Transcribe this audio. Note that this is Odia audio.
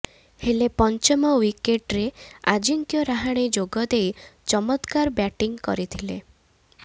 ହେଲେ ପଞ୍ଚମ ଓ୍ବିକେଟରେ ଆଜିଙ୍କ୍ୟ ରାହାଣେ ଯୋଗ ଦେଇ ଚମତ୍କାର ବ୍ୟାଟିଂ କରିଥିଲେ